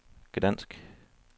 Gdansk